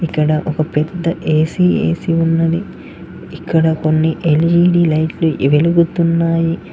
ఇక్కడ ఒక పెద్ద ఏ_సి ఏ_సి ఉన్నది ఇక్కడ కొన్ని ఎల్_ఈ_డి లైట్లు వెలుగుతున్నాయి.